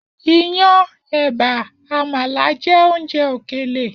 Iyán, è̩bà, àmàlà jé̩ oúnje̩ òkèlè